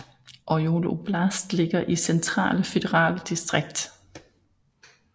Orjol oblast ligger i Centrale føderale distrikt